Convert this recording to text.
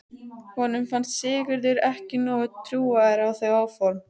Honum fannst Sigurður ekki nógu trúaður á þau áform.